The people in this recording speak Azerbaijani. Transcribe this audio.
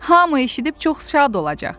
Hamı eşidib çox şad olacaq.